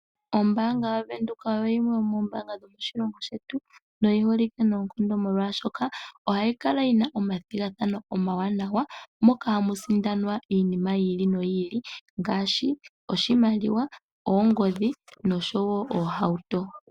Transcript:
Ombanga ya venduka oyo yimwe yomoombanga dhomoshilongo shetu noyiholike noonkondo molwashoka ohayi kala yina omathigathano omawanawa moka hamu sindanwa iinima yili no yili ngashi oshimaliwa, oongodhi nosho wo oohauto.